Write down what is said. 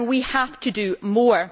We have to do more.